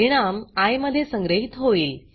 परिणाम आय मध्ये संग्रहीत होईल